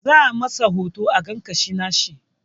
Za a masa hoto a ga ƙashin nashi